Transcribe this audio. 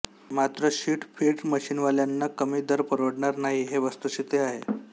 मात्र शीटफीड मशीनवाल्यांना कमी दर परवडणार नाही ही वस्तुस्थिती आहे